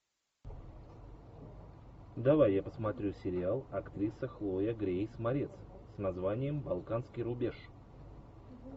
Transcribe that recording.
давай я посмотрю сериал актриса хлоя грейс морец с названием балканский рубеж